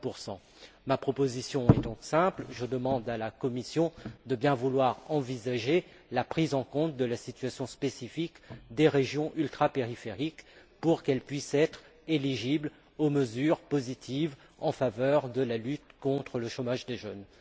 60 Ma proposition est donc simple je demande à la Commission de bien vouloir envisager la prise en compte de la situation spécifique des régions ultrapériphériques pour qu'elles puissent être éligibles aux mesures positives en faveur de la lutte contre le chômage des jeunes.